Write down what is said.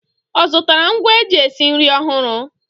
Ọ zụtara ngwa eji esi nri ọhụrụ?